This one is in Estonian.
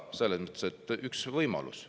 " See on ka üks võimalus.